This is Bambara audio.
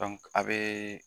a bɛ